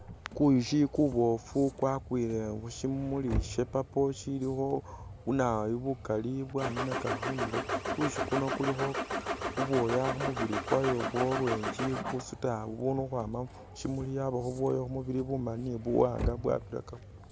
Kuyushi kuboofu kwakwile khushimuli sha'purple shilikho bunawoyu bukaali bwaninaka khundulo, kuyushi kuno kulikho bubwoya khumubili kwayo bwa'orange bubusuta bubunu khukhwama mushimuli yabakho bubwoya khumubili bumaali ni buwanga bwabirakamo